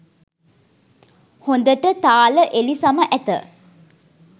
හොඳට තාල එලිසම ඇත